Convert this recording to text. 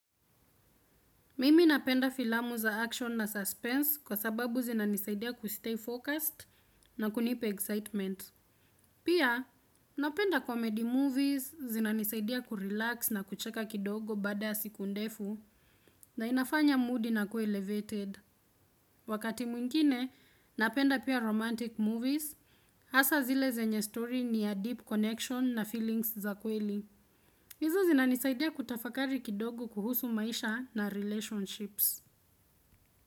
Mimi napenda filamu za action na suspense kwa sababu zinanisaidia kustay focused na kunipa excitement. Pia napenda comedy movies zinanisaidia kurelax na kucheka kidogo baada siku ndefu na inafanya mood inakua elevated. Wakati mwingine napenda pia romantic movies hasa zile zenye story ni ya deep connection na feelings za kweli. Izo zinanisaidia kutafakari kidogo kuhusu maisha na relationships.